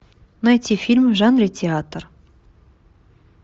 найти фильм в жанре театр